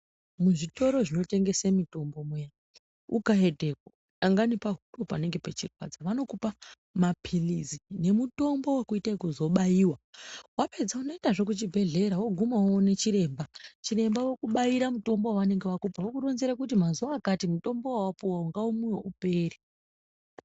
Muzvitoro zvinotengese mitombo muya ukaendepo dangani pahuro panenge pechikurwadza vanokupa maphirizi nemutombo vekuita yekuzobaiva. Vapedza unoendazve kuchibhedhlera voguma voone chiremba, chiremba vokubaira mutombo vavanenge vakupa vokuronzera kuti mazuva akati mutombo vavakupa ngaumwive upere.